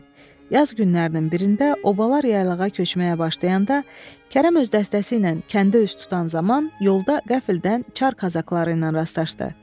Yaz günlərinin birində obalar yaylığa köçməyə başlayanda, Kərəm öz dəstəsi ilə kəndə üz tutan zaman yolda qəfildən Çar kazakları ilə rastlaşdı.